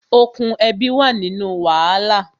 Okùn ẹbi wà nínú wàhálà